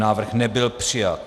Návrh nebyl přijat.